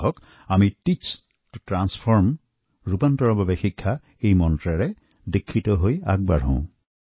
আহক টিচ ত Transformএই মন্ত্ৰ সাৰোগত কৰি আমি আগুৱাই যাও